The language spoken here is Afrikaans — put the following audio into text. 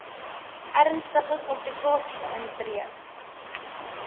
ernstige komplikasies intree